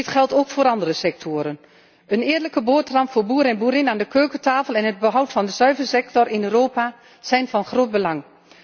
Dit geldt ook voor andere sectoren. Een eerlijke boterham voor boer en boerin aan de keukentafel en het behoud van de zuivelsector in Europa zijn van groot belang.